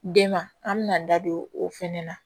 Den ma an bɛna an da don o fɛnɛ na